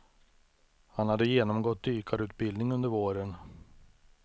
Han hade genomgått dykarutbildning under våren.